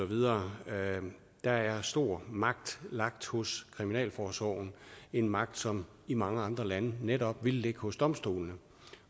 videre der er stor magt lagt hos kriminalforsorgen en magt som i mange andre lande netop ville ligge hos domstolene